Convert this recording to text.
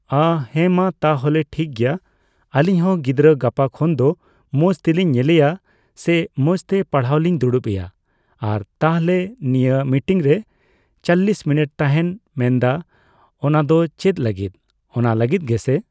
ᱚ, ᱦᱮᱸᱢᱟ ᱛᱟᱞᱦᱮ ᱴᱷᱤᱠᱜᱮᱭᱟ ᱟᱹᱞᱤᱧ ᱦᱚᱸ ᱜᱤᱫᱽᱨᱟᱹ ᱜᱟᱯᱟ ᱠᱷᱚᱱ ᱫᱚ ᱢᱚᱡᱽ ᱛᱮᱞᱤᱧ ᱧᱮᱞᱮᱭᱟ ᱥᱮ ᱢᱚᱡᱽᱛᱮ ᱯᱟᱲᱦᱟᱣᱞᱤᱧ ᱫᱩᱲᱩᱵᱮᱭᱟ᱾ ᱟᱨ ᱛᱟᱞᱦᱮ ᱱᱤᱭᱟᱹ ᱢᱤᱴᱤᱝ ᱨᱮ ᱪᱚᱞᱞᱤᱥ ᱢᱤᱱᱤᱴ ᱛᱟᱦᱮᱱ ᱢᱮᱱᱫᱟᱢ ᱚᱱᱟᱫᱚ ᱪᱮᱫ ᱞᱟᱹᱜᱤᱫ, ᱚᱱᱟ ᱞᱟᱹᱜᱤᱫ ᱜᱮ ᱥᱮ?